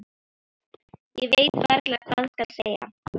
Ég veit varla hvað skal segja.